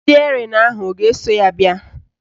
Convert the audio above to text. Stịerịn ahụ a ga-eso ya bịa?